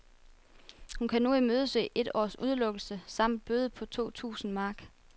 Hun kan nu imødese et års udelukkelse samt en bøde på to tusind mark.